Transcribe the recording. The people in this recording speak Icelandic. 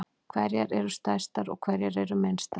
Hverjar eru stærstar og hverjar eru minnstar?